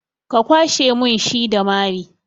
Ka kwashe mun shi da mari!